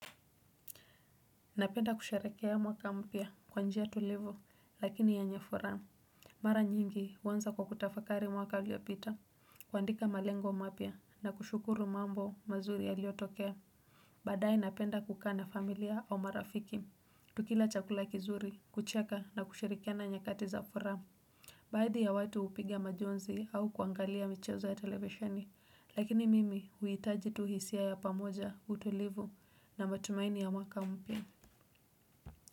Napenda kusherehekea mwaka mpya kwa njia tulivu lakini yenye furaha. Mara nyingi huanza kwa kutafakari mwaka iliyopita. Kuandika malengo mapya na kushukuru mambo mazuri yaliotokea. Baadae napenda kukaa na familia au marafiki. Tukila chakula kizuri, kucheka na kushirikiana nyakati za furaha. Baadhi ya watu upiga majonzi au kuangalia michezo ya televishoni. Lakini mimi huitaji tu hisia ya pamoja utulivu na matumaini ya mwaka mpya.